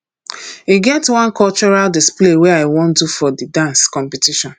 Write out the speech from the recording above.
e get one cultural display wey i wan do for the dance competition